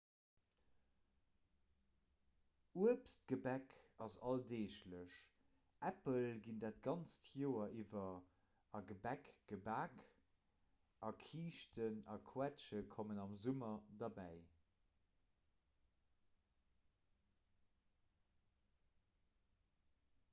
uebstgebäck ass alldeeglech äppel ginn dat ganzt joer iwwer a gebäck gebak a kiischten a quetsche kommen am summer derbäi